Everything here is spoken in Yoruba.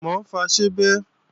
Mò ń fọ ṣíbí